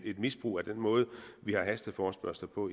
et misbrug af den måde vi har hasteforespørgsler på